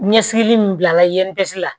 Ɲɛsili min bila la